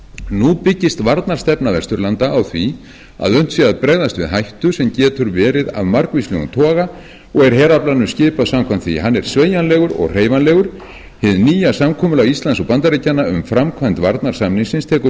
nú byggist varnarstefna norðurlanda á því að unnt sé að bregðast við hættu sem getur verið af margvíslegum toga og er heraflanum skipað samkvæmt því hann er sveigjanlegur og hreyfanlegur hið nýja samkomulag íslands og bandaríkjanna um framkvæmd varnarsamningsins tekur mið